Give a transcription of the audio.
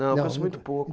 Não, conheço muito pouco.